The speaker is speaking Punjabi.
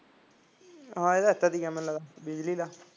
ਹਾਂ ਇਹ ਤਾਂ ਐਦਾ ਦਾ ਹੀ ਹੈ ਬਿਜਲੀ ਦਾ